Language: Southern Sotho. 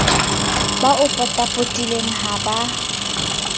ba o potapotileng ha ba